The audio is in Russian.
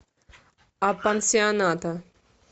апансионата